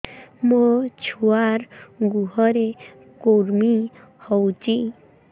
ମୋ ଛୁଆର୍ ଗୁହରେ କୁର୍ମି ହଉଚି